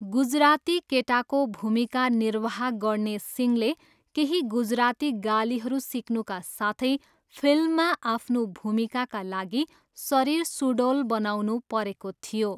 गुजराती केटाको भूमिका निर्वाह गर्ने सिंहले केही गुजराती गालीहरू सिक्नुका साथै फिल्ममा आफ्नो भूमिकाका लागि शरीर सुडौल बनाउनु परेको थियो।